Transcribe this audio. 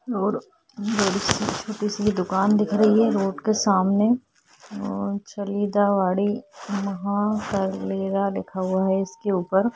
और छोटी सी दुकान दिख रही है रोड के सामने फ़रीदाबादी महा अलमीरा लिखा हुआ है इसके ऊपर--